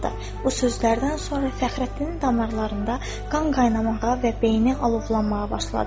Bu sözlərdən sonra Fəxrəddinin damarlarında qan qaynanağa və beyni alovlanmağa başladı.